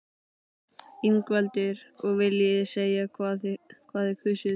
Ingveldur: Og viljið þið segja hvað þið kusuð?